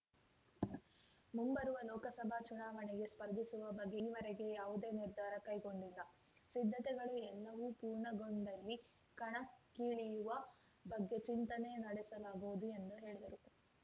ಮುಂಬರುವ ಲೋಕಸಭಾ ಚುನಾವಣೆಗೆ ಸ್ಪರ್ಧಿಸುವ ಬಗ್ಗೆ ಈವರೆಗೆ ಯಾವುದೇ ನಿರ್ಧಾರ ಕೈಗೊಂಡಿಲ್ಲ ಸಿದ್ಧತೆಗಳು ಎಲ್ಲವೂ ಪೂರ್ಣಗೊಂಡಲ್ಲಿ ಕಣಕ್ಕಿಳಿಯುವ ಬಗ್ಗೆ ಚಿಂತನೆ ನಡೆಸಲಾಗುವುದು ಎಂದು ಹೇಳಿದರು